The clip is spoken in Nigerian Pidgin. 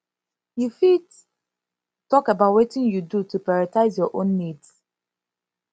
you fit talk about wetin you do to prioritize your own needs